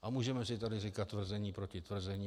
A můžeme si tady říkat tvrzení proti tvrzení.